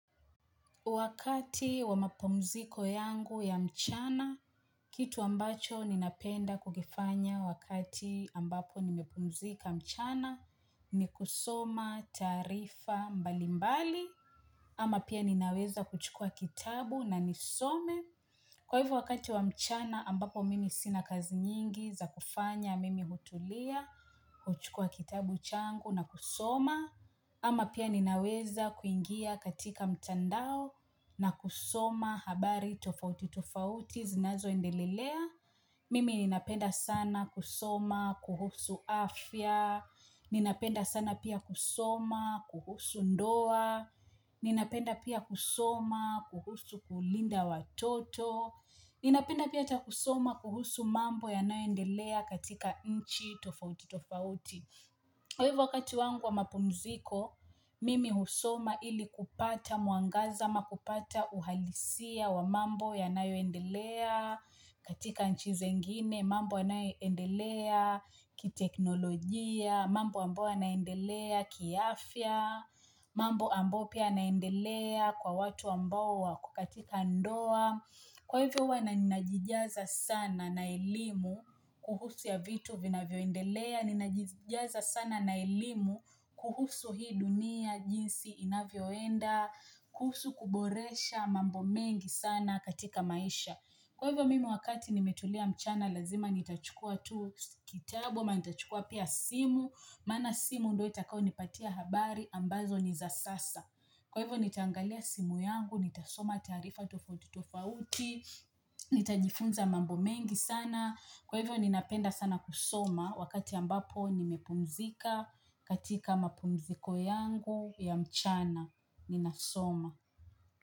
Wakati wa mapumziko yangu ya mchana, kitu ambacho ninapenda kukifanya wakati ambapo nimepumzika mchana, ni kusoma taarifa mbalimbali, ama pia ninaweza kuchukua kitabu na nisome. Kwa hivyo wakati wa mchana ambapo mimi sina kazi nyingi za kufanya mimi hutulia, kuchukua kitabu changu na kusoma, ama pia ninaweza kuingia katika mtandao na kusoma habari tofauti tofauti zinazoendelea. Mimi ninapenda sana kusoma kuhusu afya Ninapenda sana pia kusoma kuhusu ndoa Ninapenda pia kusoma, kuhusu kulinda watoto Ninapenda pia cha kusoma kuhusu mambo yanayoendelea katika nchi tofauti tofauti. Kwa hivyo wakati wangu wa mapumziko Mimi husoma ili kupata mwangaza, ama kupata uhalisia wa mambo yanayoendelea katika nchi zingine mambo yanayoendelea kiteknolojia, mambo ambayo yanaendelea kiafya, mambo ambayo pia yanaendelea, kwa watu ambao wako katika ndoa. Kwa hivyo huwa na najijaza sana na elimu kuhusu ya vitu vinavyo endelea, ninajijaza sana na elimu kuhusu hii dunia jinsi inavyoenda, kuhusu kuboresha mambo mengi sana katika maisha. Kwa hivyo mimi wakati nimetulia mchana, lazima nitachukua tu kitabu, ama nitachukua pia simu, maana simu ndio itakayo nipatia habari ambazo ni za sasa. Kwa hivyo nitaangalia simu yangu, nitasoma taarifa tofauti tofauti, nitajifunza mambo mengi sana. Kwa hivyo ninapenda sana kusoma wakati ambapo nimepumzika katika mapumziko yangu ya mchana. Ninasoma.